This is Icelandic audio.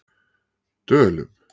Dölum